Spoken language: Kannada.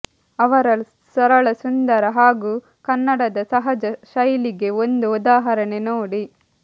ಅವರ ಸರಳ ಸುಂದರ ಹಾಗೂ ಕನ್ನಡದ ಸಹಜ ಶೈಲಿಗೆ ಒಂದು ಉದಾಹರಣೆ ನೋಡಿ